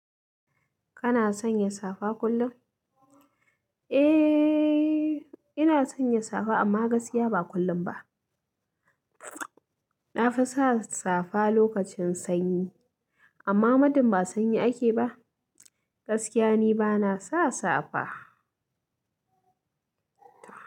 Kana sanya safa kullum? Eh, ina sanya safa amma gaskiya ba kullum ba. Na fi sa safa lokacin sanyi, amma madin ba sanyi ake ba, gaskiya ni bana sa safa.